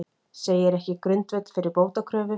Segir ekki grundvöll fyrir bótakröfu